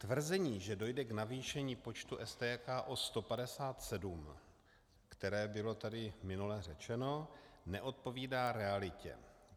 Tvrzení, že dojde k navýšení počtu STK o 157, které bylo tady minule řečeno, neodpovídá realitě.